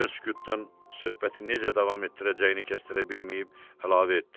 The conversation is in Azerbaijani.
Acı sükutdan söhbəti necə davam etdirəcəyini kəstirə bilməyib əlavə etdi.